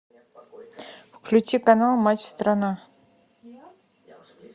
включи канал матч страна